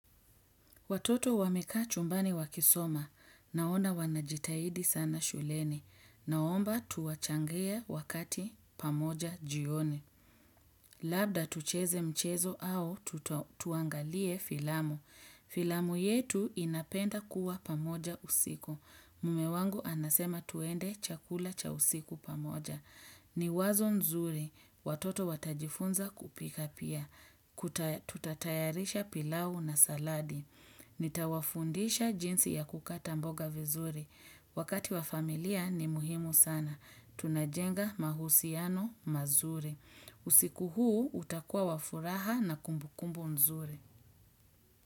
Watoto wamekaa chumbani wakisoma. Naona wanajitahidi sana shuleni. Naomba tuwachangie wakati pamoja jioni. Labda tucheze mchezo au tuangalie filamu. Filamu yetu inapenda kuwa pamoja usiku. Mume wangu anasema tuendee chakula cha usiku pamoja. Ni wazo nzuri, watoto watajifunza kupika pia. Tutatayarisha pilau na saladi. Nitawafundisha jinsi ya kukata mboga vizuri. Wakati wa familia ni muhimu sana. Tunajenga mahusiano mazuri. Usiku huu utakuwa wa furaha na kumbukumbu nzuri.